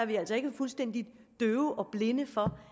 vi altså ikke fuldstændig døve og blinde for